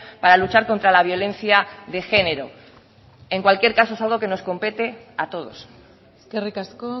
para luchar contra la violencia de género en cualquier caso es algo que nos compete a todos eskerrik asko